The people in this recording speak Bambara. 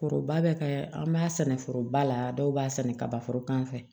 Koroba bɛ kɛ an b'a sɛnɛ foroba la dɔw b'a sɛnɛ kaba foro kan